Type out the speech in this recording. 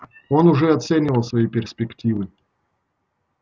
он уже оценивал свои перспективы